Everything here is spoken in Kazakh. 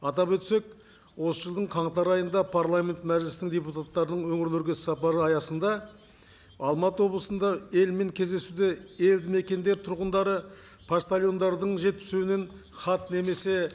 атап өтсек осы жылдың қаңтар айында парламент мәжілісінің депутаттарының өңірлерге іссапары аясында алматы облысында елмен кездесуде елді мекендер тұрғындары поштальондардың жеткізуімен хат немесе